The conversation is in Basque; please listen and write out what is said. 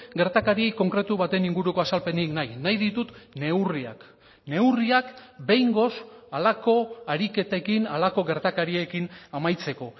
gertakari konkretu baten inguruko azalpenik nahi nahi ditut neurriak neurriak behingoz halako ariketekin halako gertakariekin amaitzeko